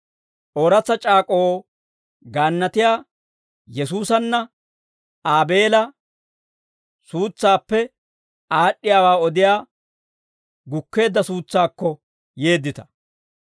Ooratsa c'aak'k'oo gaannatiyaa Yesuusanne Aabeela suutsaappe aad'd'iyaawaa odiyaa gukkeedda suutsaakko yeeddita.